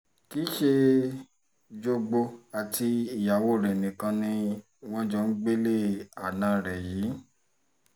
kì í ṣe jogbo àti ìyàwó rẹ̀ nìkan ni wọ́n jọ ń gbélé àna rẹ̀ yìí